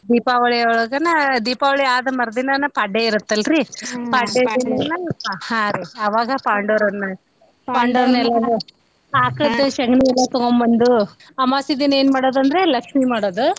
ಎಲ್ಲಾರಿಗೂ ದೊಡ್ಡ ಹಬ್ಬಾ ರೀ ಅದು ದೀಪಾವಳಿ ಒಳ್ಗನ ದೀಪಾವಳಿ ಆದ್ ಮರ್ದಿನಾನ ಪಾಡ್ಯೆ ಇತ್ತಲ್ಲರೀ ಪಾಡ್ಯೆ ದಿನಾನ ಹಾ ರೀ ಆವಾಗ ಪಾಂಡವ್ರನ್ ಆಕಳದ್ದು ಶಗ್ನಿ ಎಲ್ಲಾ ತಗೊಂಬಂದು ಅಮವಾಸ್ಸಿ ದಿನಾ ಏನ್ ಮಾಡೋದಂದ್ರೆ ಲಕ್ಷ್ಮೀ ಮಾಡೋದು.